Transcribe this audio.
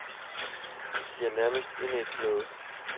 De er nærmest indædt glade.